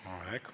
Aitäh!